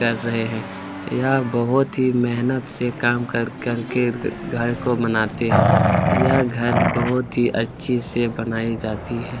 कर रहे हैं यह बहुत ही मेहनत से काम कर कर के घर को बनाते हैं यह घर बहुत ही अच्छी से बनाई जाती है।